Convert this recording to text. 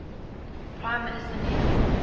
prime minister neville